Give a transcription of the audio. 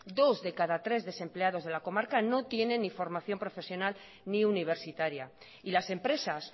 dos de cada tres desempleados de la comarca no tiene ni formación profesional ni universitaria y las empresas